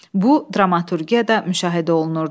Bu, dramaturgiyada da müşahidə olunurdu.